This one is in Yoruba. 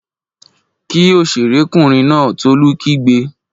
Kí òṣèré kùnrin náà! Tolú kígbe